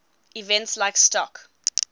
events like stock